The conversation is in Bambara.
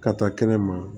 Ka taa kɛnɛma